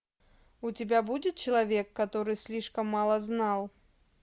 у тебя будет человек который слишком мало знал